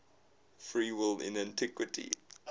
free will in antiquity